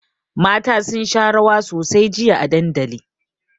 Mata sun sha rawa sosai jiya a dandali.